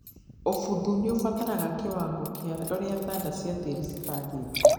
ũbuthu nĩwambatagĩrĩa kĩwangoa kĩa ũrĩa thanda cia tĩri cibangaĩkĩte.